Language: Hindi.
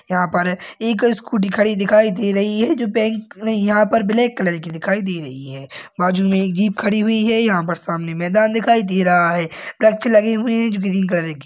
यहाँ पर एक स्कूटी खड़ी दिखाई दे रही है जो बैंक नए यहाँ पर ब्लैक कलर की दिखाई दे रही है बाजू में एक जीप खड़ी हुई है यहाँ पर सामने मैदान दिखाई दे रहा है वृक्ष लगे हुए हैं जो की ग्रीन --